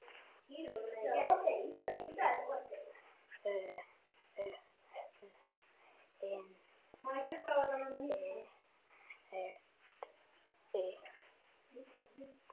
Þú ert orðin þreytt.